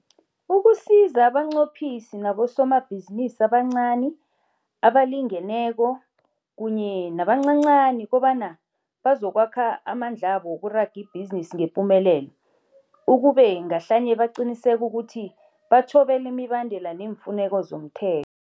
ukusiza abanqophisi nabosomabhizinisi abancani, abalingeneko kunye nabancancani kobanyana bazokwakha amandlabo wokuraga ibhizinisi ngepumelelo, ukube ngahlanye baqinisekisa ukuthi bathobela imibandela neemfuneko zomthe